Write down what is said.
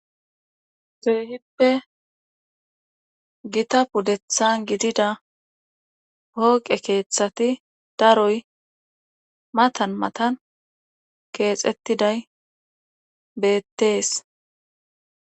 Keehippe gita puddethan gidida pooqe keeththati daroy matan matan keexettiday beettees.